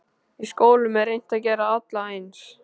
Í skólum er reynt að gera alla eins.